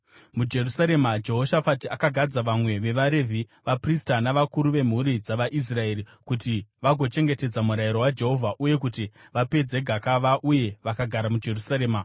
MuJerusarema, Jehoshafati akagadza vamwe vevaRevhi, vaprista navakuru vemhuri dzavaIsraeri kuti vagochengetedza murayiro waJehovha uye kuti vapedze gakava, uye vakagara muJerusarema.